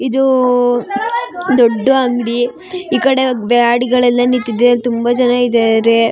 ಇದು ದೊಡ್ಡು ಅಂಗಡಿ ಈ ಕಡೆ ಗಾಡಿಗಳೆಲ್ಲ ನಿಂತಿದೆ ತುಂಬಾ ಜನ ಇದ್ದಾರೆ.